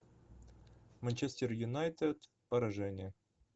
манчестер юнайтед поражение